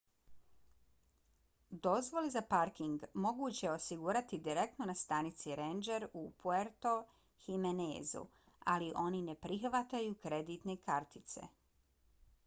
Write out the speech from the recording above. dozvole za parking moguće je osigurati direktno na stanici ranger u puerto jiménezu ali oni ne prihvataju kreditne kartice